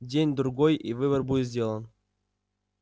день-другой и выбор будет сделан